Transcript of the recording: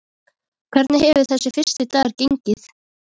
Hvernig hefur þessi fyrsti dagur gengið?